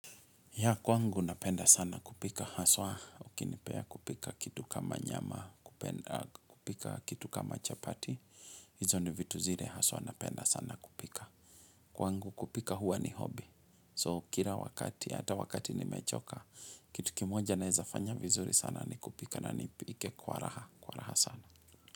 Ya kwangu napenda sana kupika, haswa ukinipea kupika kitu kama nyama, kupika kitu kama chapati, izo ni vitu zile haswa napenda sana kupika. Kwangu kupika huwa ni hobi, so kila wakati, hata wakati nimechoka, kitu kimoja naezafanya vizuri sana ni kupika na nipike kwa raha, kwa raha sana.